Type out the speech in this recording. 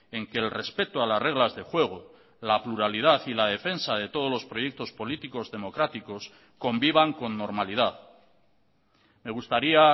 en que el respeto a las reglas de juego la pluralidad y la defensa de todos los proyectos políticos democráticos convivan con normalidad me gustaría